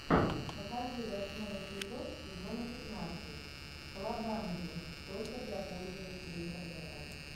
покажи восьмой эпизод сезона пятнадцать колобанги только для пользователей интернета